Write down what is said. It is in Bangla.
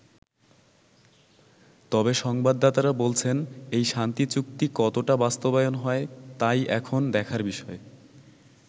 তবে সংবাদদাতারা বলছেন, এই শান্তি চুক্তি কতটা বাস্তবায়ন হয় তাই এখন দেখার বিষয়।